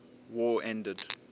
war ended